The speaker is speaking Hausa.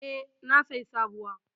E, na sayi sabuwa.